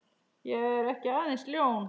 Ég er ekki aðeins ljón.